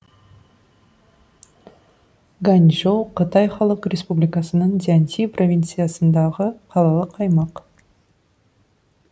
ганьчжоу қытай халық республикасының цзянси провинциясындағы қалалық аймақ